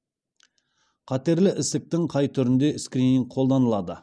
қатерлі ісіктің қай түрінде скрининг қолданылады